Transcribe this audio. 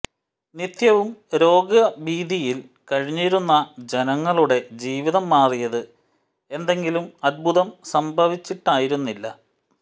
നിത്യവും രോഗഭീതിയിൽ കഴിഞ്ഞിരുന്ന ജനങ്ങളുടെ ജീവിതം മാറിയത് എന്തെങ്കിലും അത്ഭുതം സംഭവിച്ചിട്ടായിരുന്നില്ല